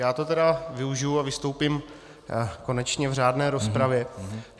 Já to tedy využiji a vystoupím konečně v řádné rozpravě.